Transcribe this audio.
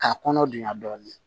K'a kɔnɔ diya dɔɔnin